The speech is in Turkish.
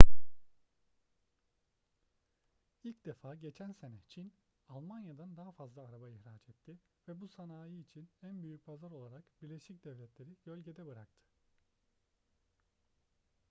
i̇lk defa geçen sene çin almanya'dan daha fazla araba ihraç etti ve bu sanayi için en büyük pazar olarak birleşik devletler'i gölgede bıraktı